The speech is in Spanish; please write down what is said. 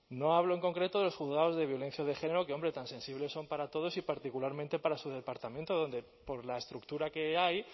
no hablo en concreto de los juzgados de violencia de género que hombre tan sensibles son para todos y particularmente para su departamento donde por la estructura que hay